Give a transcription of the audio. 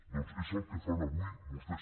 doncs és el que fan avui vostès